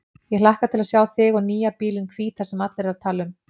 Ég hlakka til að sjá þig og nýja bílinn hvíta sem allir tala um.